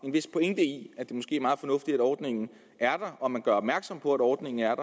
en vis pointe i at det måske er meget fornuftigt at ordningen er der og at man gør opmærksom på at ordningen er